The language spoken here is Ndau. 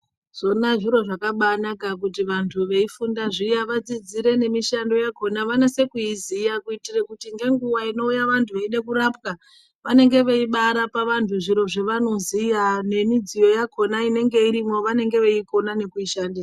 Zvona zviro zvabakai naka kuti vantu veifunda zviya vadzidzire ne mishando yakona vanase kuiziya kuitira kuti ngenguva inouya vantu veida kurapwa vanenge veibai rapa vantu zviro zva vonoziya ne midziyo yakona inenge irimo vanenge veikona kuishandisa.